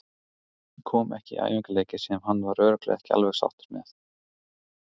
Ég kom ekki í æfingaleiki sem hann var örugglega ekki alveg sáttur með.